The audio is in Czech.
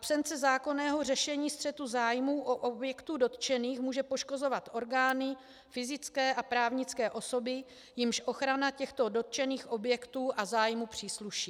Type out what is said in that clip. Absence zákonného řešení střetu zájmů u objektů dotčených může poškozovat orgány, fyzické a právnické osoby, jimž ochrana těchto dotčených objektů a zájmu přísluší.